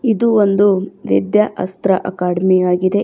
ಇದು ಒಂದು ವಿದ್ಯಾ ಅಸ್ತ್ರ ಅಕಾಡೆಮಿ ಆಗಿದೆ.